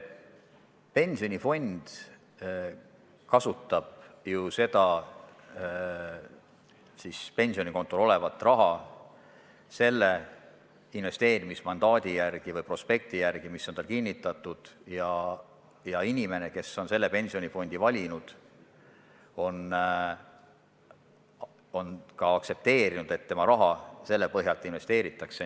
Pensionifond kasutab pensionikontol olevat raha ju selle investeerimismandaadi või prospekti alusel, mis on tal kinnitatud, ja inimene, kes on selle pensionifondi valinud, on aktsepteerinud, et tema raha sel viisil investeeritakse.